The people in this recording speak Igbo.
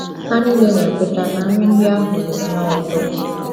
Ha nile na - ekweta na nri ndị ahụ dị nnọọ ụtọ!